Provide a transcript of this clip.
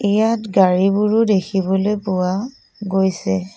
ইয়াত গাড়ীবোৰো দেখিবলৈ পোৱা গৈছে।